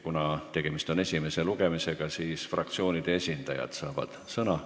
Kuna on tegemist esimese lugemisega, siis fraktsioonide esindajad saavad sõna.